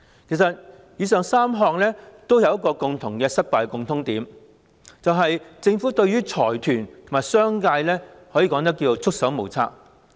其實，以上3項有政策失敗的共通點，便是政府對於財團和商界可謂束手無策。